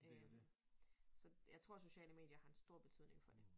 Øh så jeg tror sociale medier har en stor betydning for det